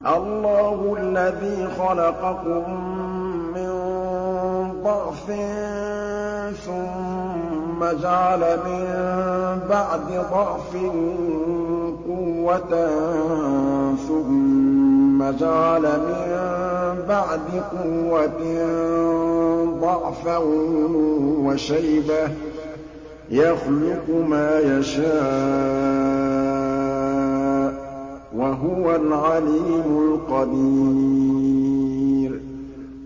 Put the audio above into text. ۞ اللَّهُ الَّذِي خَلَقَكُم مِّن ضَعْفٍ ثُمَّ جَعَلَ مِن بَعْدِ ضَعْفٍ قُوَّةً ثُمَّ جَعَلَ مِن بَعْدِ قُوَّةٍ ضَعْفًا وَشَيْبَةً ۚ يَخْلُقُ مَا يَشَاءُ ۖ وَهُوَ الْعَلِيمُ الْقَدِيرُ